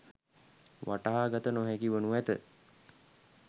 වටහා ගත නොහැකි වනු ඇත